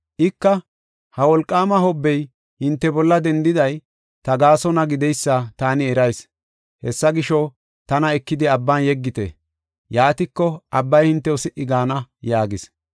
Ika, “Ha wolqaama hobbey hinte bolla dendiday ta gaason gideysa taani erayis. Hessa gisho, tana ekidi abban yeggite. Yaatiko abbay hintew si77i gaana” yaagis.